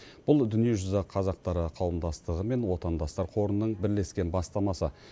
бұл дүниежүзі қазақтары қауымдастығы мен отандастар қорының бірлескен бастамасы